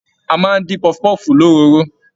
A máa n dín pọfupọfu l'òróró.